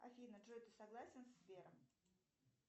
афина джой ты согласен с сбером